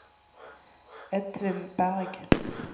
Edvin Bergh